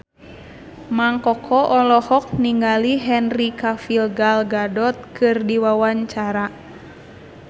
Mang Koko olohok ningali Henry Cavill Gal Gadot keur diwawancara